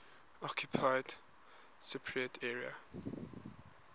occupied cypriot area